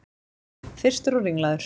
Þyrstur og ringlaður.